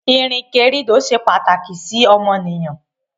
ìrìnkèrindò se pàtàkì sí ọmọnìyàn.